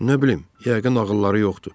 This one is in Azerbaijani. Nə bilim, yəqin ağılları yoxdur.